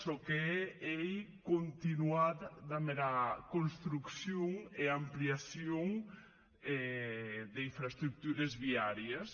çò qu’ei continuat damb era construccion e ampliacion d’infraestructures viàries